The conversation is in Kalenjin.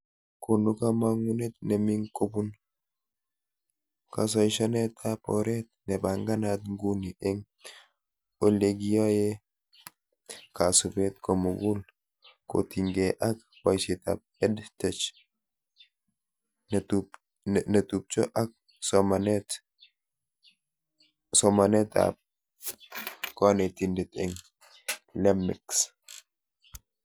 Konu kamagunet neming kobun kasaishanetab oret nebanganat nguni eng olekiyoe kasubet komugul kotinke ak boishetab EdTech netubcho ak somanetab konetindet eng LMICs